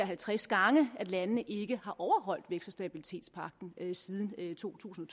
halvtreds gange at landene ikke har overholdt vækst og stabilitetspagten siden to tusind